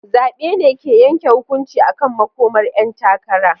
Zabe ne ke yanke hukunci akan makomar 'yan takara.